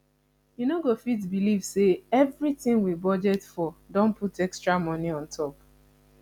you no go fit believe say everything we budget for don put extra money on top